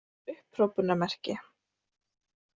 upphrópunarmerki